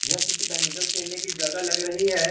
यह किसी बैडमिंटन खेलने की जगह लग रही है।